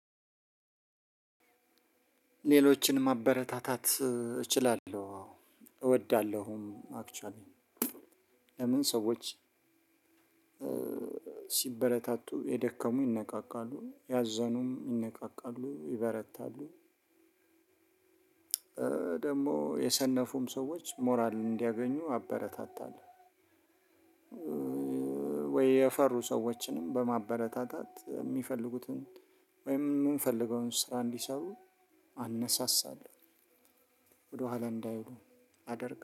ሌሎችን ማበረታታት እችላለሁ። አዎ እወዳለሁም አክችዋሊ ለምን ሰዎች ሲበረታቱ የደከሙ ይነቃቃሉ ያዘኑም ይነቃቃሉ ይበረታሉ ደግሞ የሰነፉም ሰዎች ሞራል እንዲያገኙ አበረታታለሁ። ወይ የፈሩ ሰዎችንም በማበረታታት የሚፈልጉትን ወይም የምንፈልገውን ስራ እንዲሰሩ አነሳሳለሁ ወደኋላ እንዳይሉ አደርጋለሁ